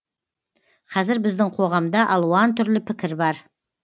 қазір біздің қоғамда алуан түрлі пікір бар